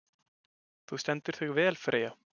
Þú stendur þig vel, Freyja!